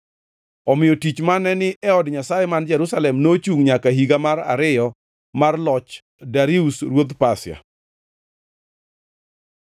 Omiyo tich mane ni e od Nyasaye man Jerusalem nochungʼ nyaka e higa mar ariyo mar loch Darius ruodh Pasia.